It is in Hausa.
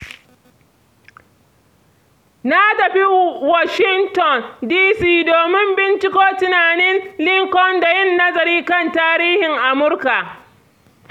Na tafi Washington, D.C., domin binciko tunanin Lincoln da yin nazari kan tarihin Amurka.